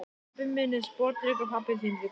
Pabbi minn er sporðdreki og pabbi þinn líka.